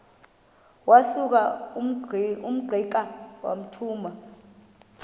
wasuka ungqika wathuma